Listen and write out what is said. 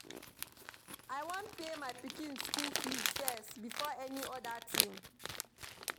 I wan pay my pikin school fees first before any other thing